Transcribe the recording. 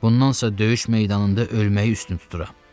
Bundansa döyüş meydanında ölməyi üstün tuturam.